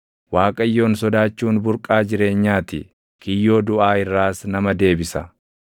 Waaqayyoon sodaachuun burqaa jireenyaa ti; kiyyoo duʼaa irraas nama deebisa.